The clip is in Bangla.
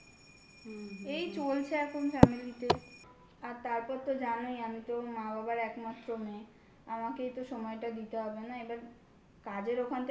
এই চলছে এখন family তে আর তারপর তো জানোই আমি তো মা বাবার একমাত্র মেয়ে. আমাকেই তো সময়টা দিতে হবে না. এবার কাজের ওখান থেকে